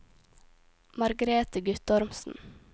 Margrete Guttormsen